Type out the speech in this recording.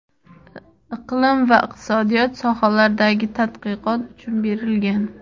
iqlim va iqtisodiyot sohalaridagi tadqiqot uchun berilgan.